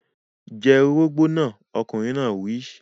Jẹ orógbó náà! Ọkùnrin náà wí.